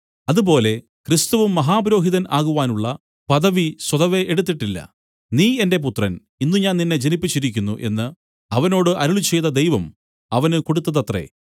അതുപോലെ ക്രിസ്തുവും മഹാപുരോഹിതൻ ആകുവാനുള്ള പദവി സ്വതവേ എടുത്തിട്ടില്ല നീ എന്റെ പുത്രൻ ഇന്ന് ഞാൻ നിന്നെ ജനിപ്പിച്ചിരിക്കുന്നു എന്നു അവനോട് അരുളിച്ചെയ്ത ദൈവം അവന് കൊടുത്തതത്രേ